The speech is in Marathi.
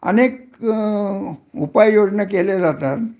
अनेक उपाययोजना केल्या जातात.